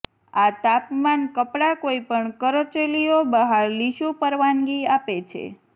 આ તાપમાન કપડાં કોઈપણ કરચલીઓ બહાર લીસું પરવાનગી આપે છે